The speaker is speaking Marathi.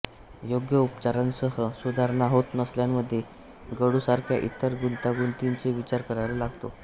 योग्य उपचारांसह सुधारणा होत नसलेल्यांमध्ये गळूसारख्या इतर गुंतागुंतींचा विचार करायला लागतो